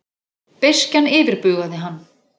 Beiskjan yfirbugaði hann.